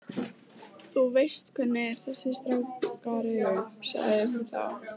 Þú veist hvernig þessir strákar eru- sagði hún þá.